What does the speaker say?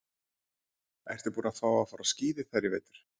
Ertu búinn að fara á skíði þar í vetur?